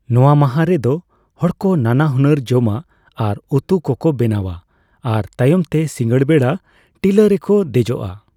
ᱱᱚᱣᱟ ᱢᱟᱦᱟ ᱨᱮᱫᱚ ᱦᱚᱲᱠᱚ ᱱᱟᱱᱟ ᱦᱩᱱᱟᱹᱨ ᱡᱚᱢᱟᱜ ᱟᱨ ᱩᱛᱩ ᱠᱚᱠᱚ ᱵᱮᱱᱟᱣᱼᱟ ᱟᱨ ᱛᱟᱭᱚᱢᱛᱮ ᱥᱤᱸᱜᱟᱹᱲ ᱵᱮᱲᱟ ᱴᱤᱞᱟᱹ ᱨᱮᱠᱚ ᱫᱮᱡᱚᱜᱼᱟ ᱾